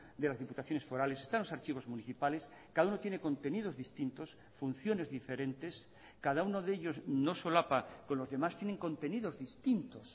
de las diputaciones forales están los archivos municipales cada uno tiene contenidos distintos funciones diferentes cada uno de ellos no solapa con los demás tienen contenidos distintos